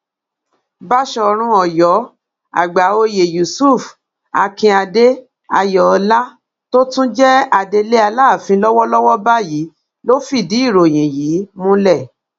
báṣọrun ọyọ àgbàòye yusuf akinade ayọọlá tó tún jẹ adelé aláàfin lọwọlọwọ báyìí ló fìdí ìròyìn yìí múlẹ